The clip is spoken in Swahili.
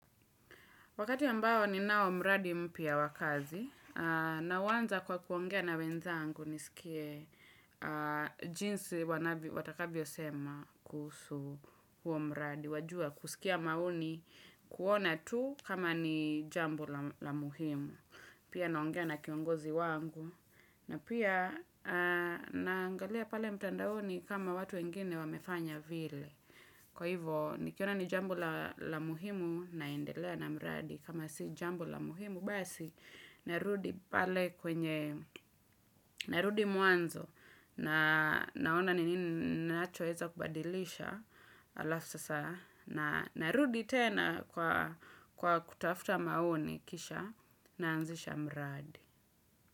Wakati ambao ninao mradi mpya wa kazi, nauanza kwa kuongea na wenzangu nisikie jinsi wanavyo watakavyo sema kuhusu huo mradi. Wajua kusikia maoni kuona tu kama ni jambo la muhimu. Pia naongea na kiongozi wangu. Na pia, naangalia pale mtandaoni kama watu wengine wamefanya vile. Kwa hivyo, nikiona ni jambo la muhimu naendelea na mradi. Kama si jambo la muhimu, basi narudi pale kwenye, narudi mwanzo. Na naona ni nini ninachoweza kubadilisha halafu sasa. Na narudi tena kwa kutafuta maoni kisha naanzisha mradi.